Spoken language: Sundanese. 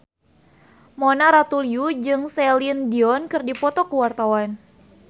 Mona Ratuliu jeung Celine Dion keur dipoto ku wartawan